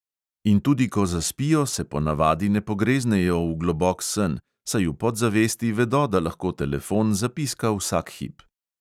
In tudi ko zaspijo, se ponavadi ne pogreznejo v globok sen, saj v podzavesti vedo, da lahko telefon zapiska vsak hip.